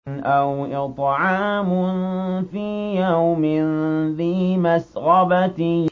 أَوْ إِطْعَامٌ فِي يَوْمٍ ذِي مَسْغَبَةٍ